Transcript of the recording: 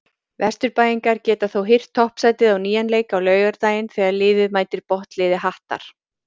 Vesturbæingar geta þó hirt toppsætið á nýjan leik á laugardaginn þegar liðið mætir botnliði Hattar.